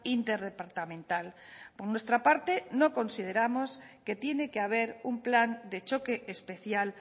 interdepartamental por nuestra parte no consideramos que tiene que haber un plan de choque especial